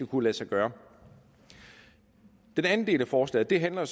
kunne lade sig gøre den anden del af forslaget handler